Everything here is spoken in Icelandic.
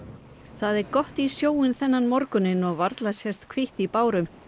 það er gott í sjóinn þennan morguninn og varla sést hvítt í báru